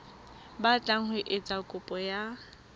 batlang ho etsa kopo ya